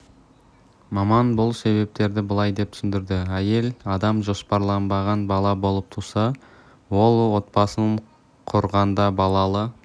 маман бұл себептерді былай деп түсіндірді әйел адам жоспарланбаған бала болып туса ол отбасын құрғанда балалы